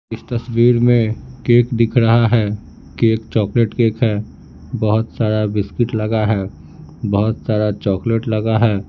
इस तस्वीर में केक दिख रहा है केक चॉकलेट केक है बहुत सारा बिस्किट लगा है बहुत सारा चॉकलेट लगा है।